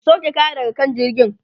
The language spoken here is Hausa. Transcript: ku sauke kaya daga kan jirgin!